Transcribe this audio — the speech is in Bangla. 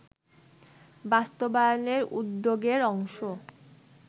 বাস্তবায়নের উদ্যোগের অংশ